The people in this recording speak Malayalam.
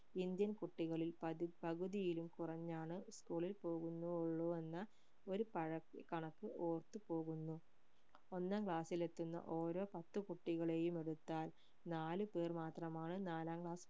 indian കുട്ടികളിൽ പക് പകുതിയിലും കുറഞ്ഞാണ് school ൽ പോകുന്നോ ഉള്ളു എന്ന ഒരു പഴയ കണക്ക് ഓർത്തു പോകുന്നു ഒന്നാം class ൽ എത്തുന്ന ഓരോ പത്ത് കുട്ടികളെയും എടുത്താൽ നാലു പേർമാത്രമാണ് നാലാം class